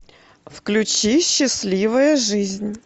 включи счастливая жизнь